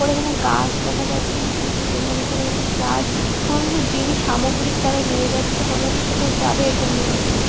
ওর এখানে গাছ দেখা যাচ্ছে কিছু ছোট মানে কোনো কিছু গাছ কোনো কিছু জিনিস সামগ্রিক তারা নিয়ে যাচ্ছে মনে হচ্ছে কোথাও যাবে এরকম নিয়ে আছে ।